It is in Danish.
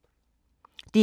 DR K